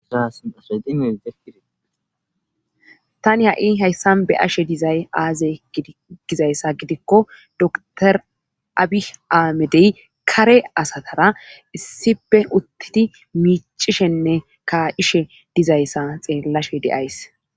Itani ha'i hayssan be ashe dizay aaze gizayssa gidikko dotor abih aamedey kare asatara issipe uttidi miicishenne ka'ishe dizayssa xeellashe deays